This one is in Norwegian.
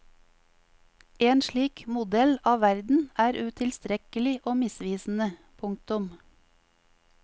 En slik modell av verden er utilstrekkelig og misvisende. punktum